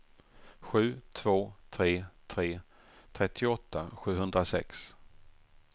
sju två tre tre trettioåtta sjuhundrasex